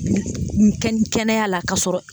Kɛnɛya la ka sɔrɔ.